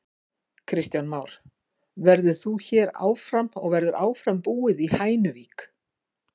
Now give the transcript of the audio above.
Kristján Már: Verður þú hér áfram og verður áfram búið í Hænuvík?